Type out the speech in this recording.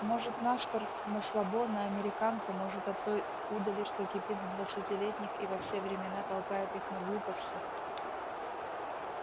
может на спор на слабо на американку может от той удали что кипит в двадцатилетних и во все времена толкает их на глупости